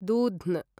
दूध्न